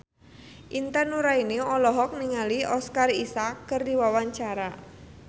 Intan Nuraini olohok ningali Oscar Isaac keur diwawancara